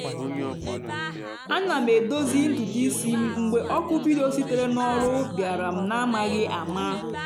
ana m edozi ntutu isi m mgbe oku vidio sitere n’ọrụ bịara m n’amaghị ama